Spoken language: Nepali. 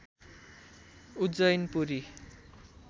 उज्जैन पुरी